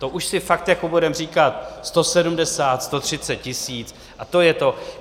To už si fakt jako budeme říkat, 170, 130 tisíc, a to je to.